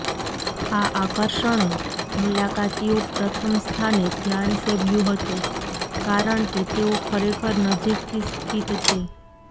આ આકર્ષણો મુલાકાતીઓ પ્રથમ સ્થાને ધ્યાન સેવ્યું હતું કારણ કે તેઓ ખરેખર નજીકથી સ્થિત છે